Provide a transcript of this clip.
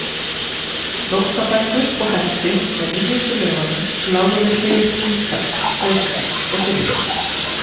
Nótnabækur og hefti með nýjustu lögunum lágu við hlið gítars, flautu og fiðlu.